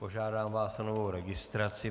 Požádám vás o novou registraci.